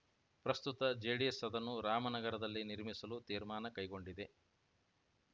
ಪ್ರಸ್ತುತ ಜೆಡಿಎಸ್‌ ಅದನ್ನು ರಾಮನಗರದಲ್ಲಿ ನಿರ್ಮಿಸಲು ತೀರ್ಮಾನ ಕೈಗೊಂಡಿದೆ